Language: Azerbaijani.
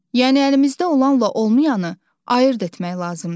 Yəni əlimizdə olanla olmayanı ayırd etmək lazımdır.